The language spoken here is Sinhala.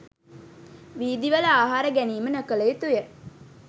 වීදිවල ආහාර ගැනීම නොකළ යුතු ය.